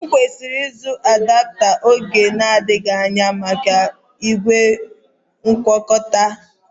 E kwesịrị m ịzụta adapta oge na-adịghị anya maka ígwè ngwakọtaa